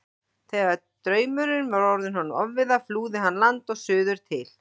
Þegar draumurinn var orðinn honum ofviða flúði hann land og suður til